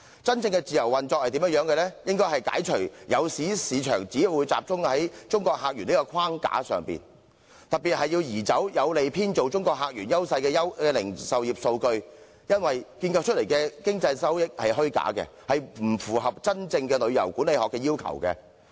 真正的自由經濟運作，應該解除誘使市場只會集中於中國客源的框架，特別是要移走有利編造中國客源優勢的零售業數據，因為建構出來的經濟收益是虛假的，不符合真正旅遊管理學的要求。